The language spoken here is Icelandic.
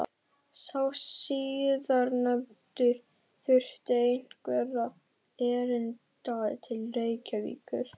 Sá síðarnefndi þurfti einhverra erinda til Reykjavíkur.